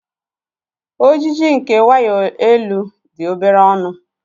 Ojiji nke waya elu dị obere ọnụ.